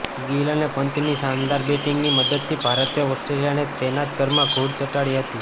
ગિલ અને પંતની શાનદાર બેટિંગની મદદથી ભારતે ઑસ્ટ્રેલિયાને તેના જ ઘરમાં ધૂળ ચટાડી છે